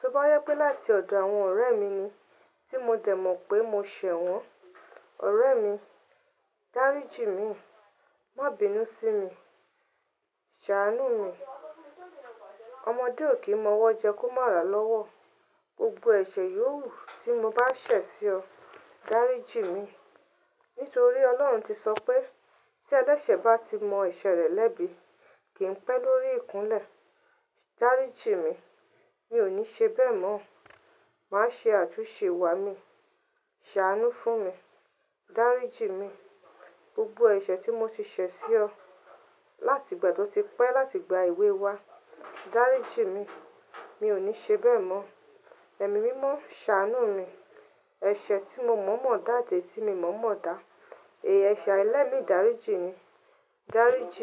Tó bá yẹ pé láti ọ̀dọ̀ àwọn ọ̀rẹ́ mi ni tí mo dẹ̀ mọ̀ pé mo ṣẹ̀ wọ́n, ọ̀rẹ́ mi, dáríji n mi, má bíi nú sí mi, ṣàánú mi. Ọmọdé ò kí n mọwọ́ jẹ kó má ràá lọ́wọ́. Gbogbo ẹ̀ṣẹ̀ yóò wú tí mo bá ṣẹ̀ sí ọ, dáríji mi. Nítorí Ọlọ́run ti sọ pé tí ẹlẹ́sẹ̀ bá ti mọ ẹ̀ṣẹ̀ rẹ̀ lẹ́bi, kì n pẹ́ lórí ìkúnlẹ̀. Dáríji mi, mi ò ní ṣe bẹ́ẹ̀ mọ́. Màá ṣe àtúnṣe wà á mi. Ṣàánú fún mi, dáríji mi. Gbogbo ẹ̀ṣẹ̀ tí mo ti ṣẹ̀ sí ọ láti ìgbà tí ó ti pẹ́ láti ìgbà èwe wa, dáríji mi. Mi ò ní ṣe bẹ́ẹ̀ mọ́. Ẹ̀mí mímọ́ ṣàánú mi. Ẹ̀ṣẹ̀ tí mo mọ̀ mọ̀ọ́ dá àti èyí tí mo mọ̀ mọ̀ọ́ dá. Èéṣà ẹlẹ́mi dàríji mi, dáríji mi.